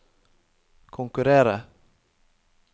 konkurrere